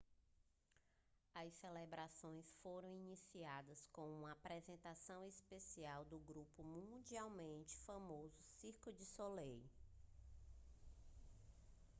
as celebrações foram iniciadas com uma apresentação especial do grupo mundialmente famoso cirque du soleil